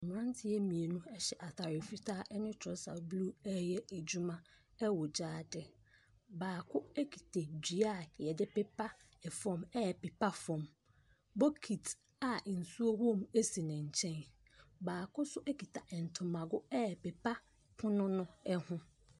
Mmeranteɛ mmienu hyɛ atadeɛ fitaa ne trɔsa blue reyɛ adwuma wɔ gyaade. Baako kita dua wɔde pepa fam repepa fam. Bokiti a nsuo wɔ mu si ne nkyɛn. Baako nso kita ntomgo repera pono no ho.